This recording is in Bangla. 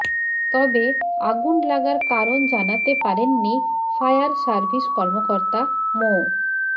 তবে আগুন লাগার কারণ জানাতে পারেননি ফায়ার সার্ভিস কর্মকর্তা মো